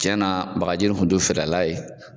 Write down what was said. Tiɲɛ na bakaji in kun t'u fɛrɛla ye.